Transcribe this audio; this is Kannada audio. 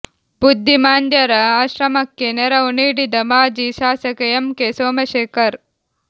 ಬುದ್ಧಿಮಾಂದ್ಯರ ಆಶ್ರಮಕ್ಕೆ ನೆರವು ನೀಡಿದ ಮಾಜಿ ಶಾಸಕ ಎಂ ಕೆ ಸೋಮಶೇಖರ್